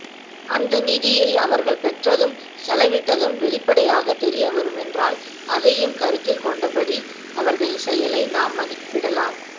அந்த நிதியை அவர்கள் பெற்றதும் செலவிட்டதும் வெளிப்படையாகத் தெரியவரும் என்றால் அதையும் கருத்தில்கொண்டபடி அவர்களின் செயலை நாம் மதிப்பிடலாம்